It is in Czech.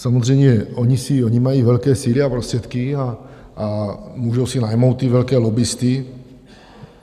Samozřejmě, oni mají velké síly a prostředky a můžou si najmout ty velké lobbisty.